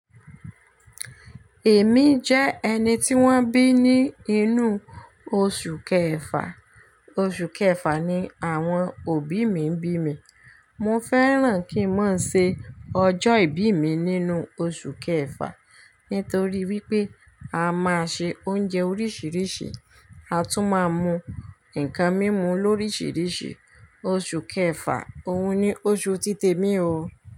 Èmi jẹ́ ẹni tí wọ́n bí ní inú oṣù kẹfà, oṣù kẹfà ni àwọn òbí mi bí mi. Mo fẹ́ràn kí n máa ṣe ọjọ́ ìbí mi nínú oṣù kẹfà, ntorí wípé a máa ṣe oúnjẹ oríṣiríṣi, a tún máa mu ǹnkan mímu lóríṣiríṣi. Oṣù kẹfà òun ni oṣù títẹ́ mi o.